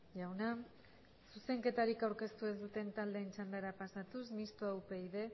jauna zuzenketarik aurkeztu ez duten taldeen txandara pasatuz mistoa upyd